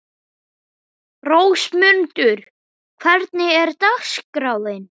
Rósmundur, hvernig er dagskráin?